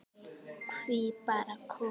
Hví bara konur?